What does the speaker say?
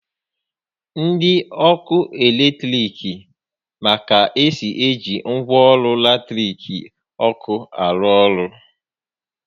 Ndi ọkụ eletrik ma ka esi eji ngwaọrụ latiriki ọkụ arụ orụ